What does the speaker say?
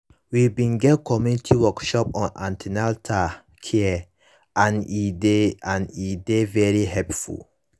na until i born pikin pikin i cum know how an ten atal care dey important